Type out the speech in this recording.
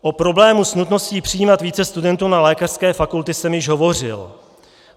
O problému s nutností přijímat více studentů na lékařské fakulty jsem již hovořil.